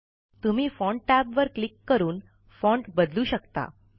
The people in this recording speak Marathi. तुम्ही फाँट टॅबवर क्लिक करून फाँट बदलू शकता